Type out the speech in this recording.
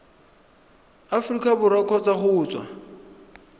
aforika borwa kgotsa go tswa